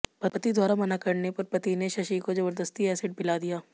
पत्नी द्वारा मना करने पर पति ने शशि को जबरदस्ती एसिड पिला दिया